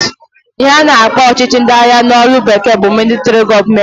Ihe a na-akpọ ọchịchị ndị agha n'olu bekee bụ militari gọọment.